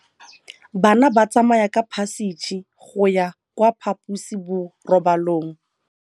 Bana ba tsamaya ka phašitshe go ya kwa phaposiborobalong.